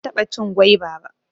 Ban taɓa cin gwaiba ba